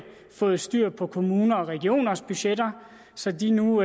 fået styr på kommuners og regioners budgetter så de nu